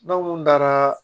N'aw mun taara